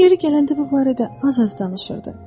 O yeri gələndə bu barədə az-az danışırdı.